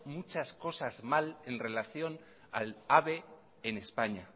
muchas cosas mal en relación en relación al ave en españa